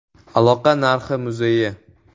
Aloqa tarixi muzeyi.